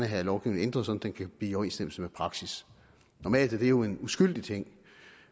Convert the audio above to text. have lovgivningen ændret så den kan blive i overensstemmelse med praksis normalt er det jo en uskyldig ting